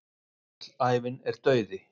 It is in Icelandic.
Öll ævin er dauði.